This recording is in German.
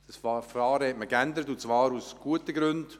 Dieses Verfahren hat man geändert, und zwar aus guten Gründen;